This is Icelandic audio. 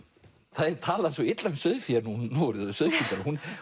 það er talað svo illa um sauðfé núorðið og sauðkindina